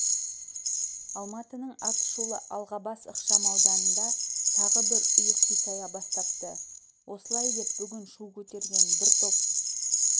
алматының атышулы алғабас ықшамауданында тағы бір үй қисая бастапты осылай деп бүгін шу көтерген бір топ